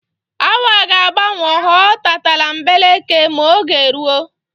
Awa ga-agbanwo ghọọ tatambeleke m'oge ruo.